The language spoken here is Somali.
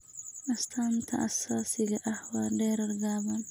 Astaanta aasaasiga ah waa dherer gaaban.